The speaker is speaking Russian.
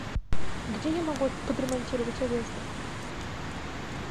где я могу подремонтировать одежду